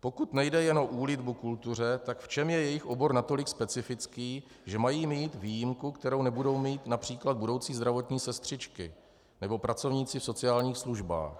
Pokud nejde jen o úlitbu kultuře, tak v čem je jejich obor natolik specifický, že mají mít výjimku, kterou nebudou mít například budoucí zdravotní sestřičky nebo pracovníci v sociálních službách?